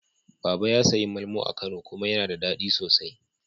Baba ya sayi malmo a Kano kuma yana da daɗi sosai.